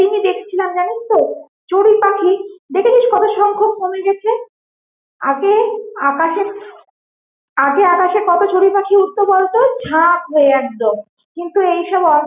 দিনই দেখছিলাম জানিস তো চড়ুই পাখি দেখেছিস কত সংখ্যক কমে গেছে, আগে আকাশে আগে আকাশে কত চড়ুই পাখি উড়ত বলতো? ঝাক হয়ে একদম কিন্তু এইসব অ~